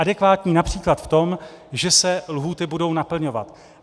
Adekvátní například v tom, že se lhůty budou naplňovat.